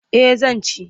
Eh zan ci.